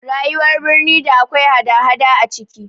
Rayuwar birni da akwai hada hada a ciki